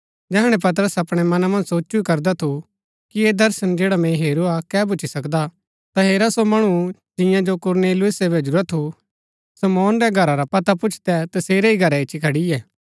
जैहणै पतरस अपणै मना मन्ज सोचु ही करदा थु कि ऐह दर्शन जैडा मैंई हेरूआ कै भूच्ची सकदा ता हेरा सो मणु जिंआं जो कुरनेलियुसे भैजुरा थु शमौन रै घरा रा पता पुछदै तसेरै ही घरै इच्ची खड़ियै